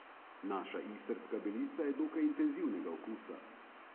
Naša istrska belica je dokaj intenzivnega okusa.